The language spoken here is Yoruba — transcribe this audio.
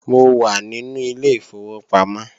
Mo wà nínú ilé ìfowópamọ́